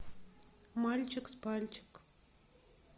мальчик с пальчик